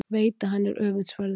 Veit að hann er öfundsverður.